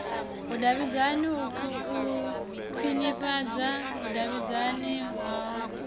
vhudavhidzani u khwinifhadza vhudavhidzani havhui